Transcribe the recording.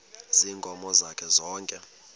ziinkomo zakhe zonke